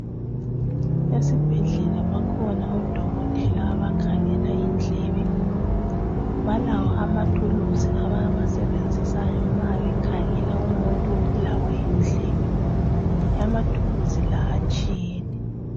Esibhedlela bakhona odokotela abakhangela indlebe. Balawo amathuluzi abawasebenzisayo nxa bekhangela umuntu obulawa yindlebe. Amathuluzi la atshiyene.